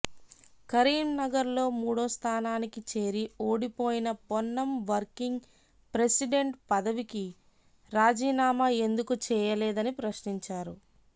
కరీంనగర్ లో మూడో స్థానానికి చేరి ఓడిపోయిన పొన్నం వర్కింగ్ ప్రెసిడెంట్ పదవికి రాజీనామా ఎందుకు చేయలేదని ప్రశ్నించారు